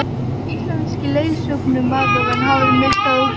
Íslenski leiðsögumaðurinn hafði misst það út úr sér.